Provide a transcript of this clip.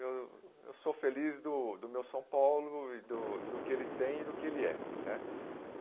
eu eu sou feliz do do meu São Paulo e do do que ele tem e do que ele é, né?